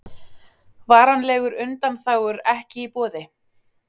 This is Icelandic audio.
Varanlegar undanþágur ekki í boði